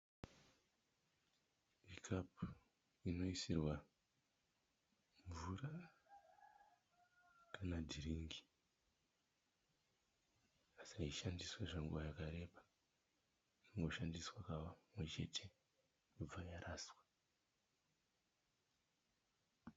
Ikapu inoisirwa mvura kanadhiringi asi haishandiswe zvenguva yakareba. Inoshandiswa kamwe chete yobva yaraswa.